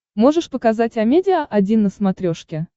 можешь показать амедиа один на смотрешке